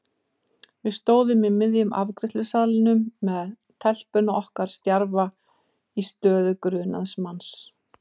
Við stóðum í miðjum afgreiðslusalnum með telpuna okkar stjarfa í stöðu grunaðs manns.